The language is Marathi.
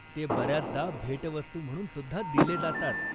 ते बऱ्याचदा भेटवस्तू म्हणून सुद्धा दिले जातात.